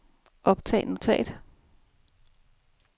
optag notat